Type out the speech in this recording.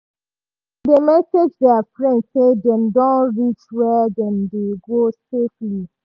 dem dey message their friend say dem don reach where dem dey go safely.